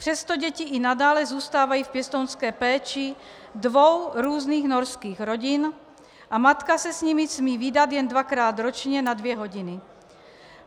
Přesto děti i nadále zůstávají v pěstounské péči dvou různých norských rodin a matka se s nimi smí vídat jen dvakrát ročně na dvě hodiny.